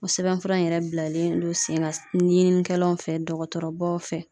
O sɛbɛnfura in yɛrɛ bilalen don sen kan ɲininikɛlaw fɛ dɔgɔtɔrɔbaw fɛ.